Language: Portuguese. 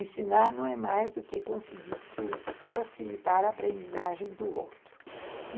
Ensinar não é mais do que conseguir que o, facilitar a aprendizagem do outro.